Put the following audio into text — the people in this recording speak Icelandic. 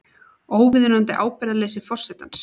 Óviðunandi ábyrgðarleysi forsetans